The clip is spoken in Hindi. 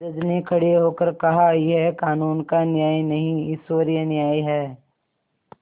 जज ने खड़े होकर कहायह कानून का न्याय नहीं ईश्वरीय न्याय है